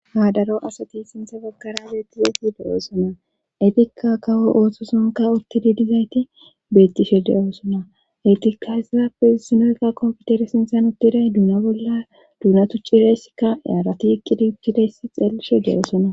Ha daro asati sinthe bakkara beettizayti de7oosona etikka kawo ooththosonka ottidi dizayti beettishe de7oosona eytikka hezaafe sinaka komfutere sinthan uttiday duuna bolla duuna tuccireysikka yaarati ikkidi ukkidayssa xeelishe de7osona.